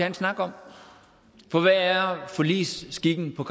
en snak om for hvad er forligsskikken på